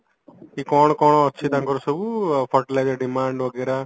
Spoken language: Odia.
କି କଣ କଣ ଅଛି ତାଙ୍କର ସବୁ fertilizer demand ବଗେରା